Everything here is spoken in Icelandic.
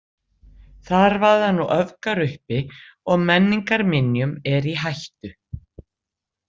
Þar vaða nú öfgar uppi og menningarminjum er í hættu.